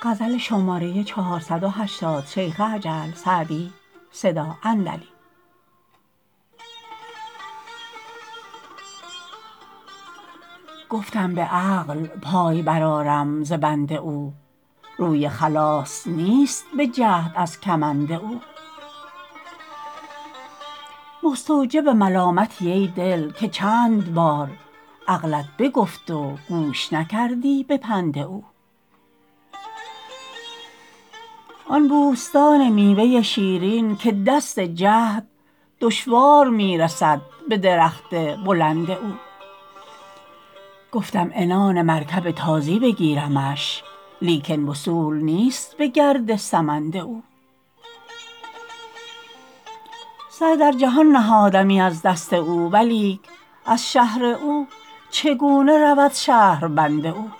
گفتم به عقل پای برآرم ز بند او روی خلاص نیست به جهد از کمند او مستوجب ملامتی ای دل که چند بار عقلت بگفت و گوش نکردی به پند او آن بوستان میوه شیرین که دست جهد دشوار می رسد به درخت بلند او گفتم عنان مرکب تازی بگیرمش لیکن وصول نیست به گرد سمند او سر در جهان نهادمی از دست او ولیک از شهر او چگونه رود شهربند او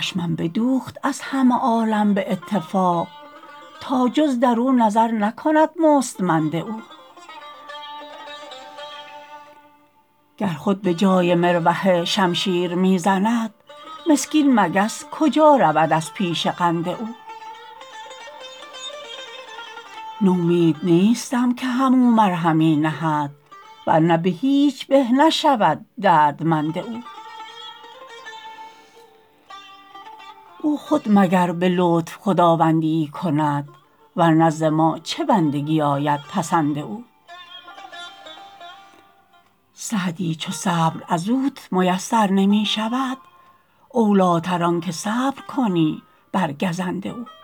چشمم بدوخت از همه عالم به اتفاق تا جز در او نظر نکند مستمند او گر خود به جای مروحه شمشیر می زند مسکین مگس کجا رود از پیش قند او نومید نیستم که هم او مرهمی نهد ور نه به هیچ به نشود دردمند او او خود مگر به لطف خداوندی ای کند ور نه ز ما چه بندگی آید پسند او سعدی چو صبر از اوت میسر نمی شود اولی تر آن که صبر کنی بر گزند او